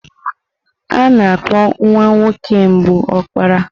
Ana-akpọ nwa nwoke mbụ Opara.